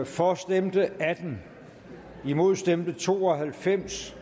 for stemte atten og imod stemte to og halvfems